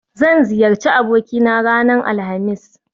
Zan ziyarci abokina ranar Alhamis